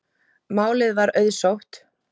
Málið var auðsótt.